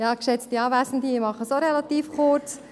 Ich mache es auch relativ kurz.